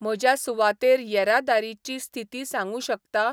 म्हज्या सुवातेर येरादारीची स्थिती सांगूं शकता ?